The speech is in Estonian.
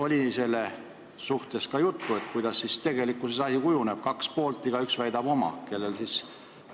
Kas sellest oli juttu, kuidas asi tegelikkuses kujuneb, kui on kaks poolt ja igaüks väidab oma?